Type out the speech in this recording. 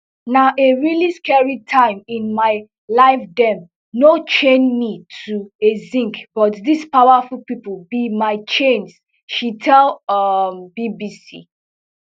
na a really scary time in my lifedem no chain me to a sink but dis powerful pipo be my chains she tell um bbc